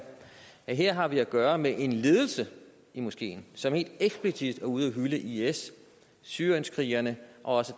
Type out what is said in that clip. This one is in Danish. at her har vi at gøre med en ledelse i moskeen som helt eksplicit er ude at hylde is syrienskrigerne og